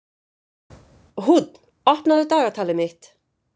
Húnn, opnaðu dagatalið mitt.